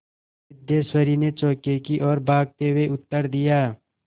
सिद्धेश्वरी ने चौके की ओर भागते हुए उत्तर दिया